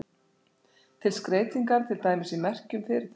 Til skreytingar, til dæmis í merkjum fyrirtækja.